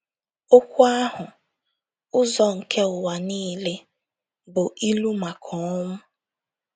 Okwu ahụ “ụzọ nke ụwa niile” bụ ilu maka ọnwụ.